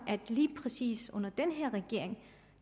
at lige præcis under den her regering